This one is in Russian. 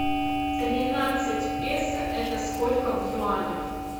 тринадцать песо это сколько в юанях